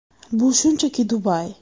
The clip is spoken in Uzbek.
Bu shunchaki Dubay.